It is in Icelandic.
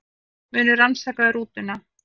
Munu rannsaka rútuna